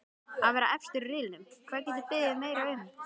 Að vera efstir í riðlinum, hvað geturðu beðið meira um?